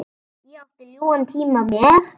Ég átti ljúfan tíma með